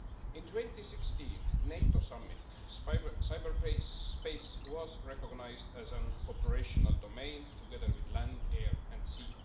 In 2016, at the NATO Summit cyberspace was recognised as an operational domain, together with land, air and sea.